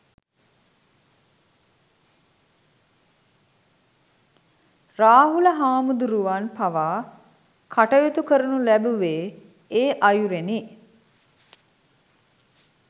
රාහුල හාමුදුරුවන් පවා කටයුතු කරනු ලැබුවේ, ඒ අයුරෙනි.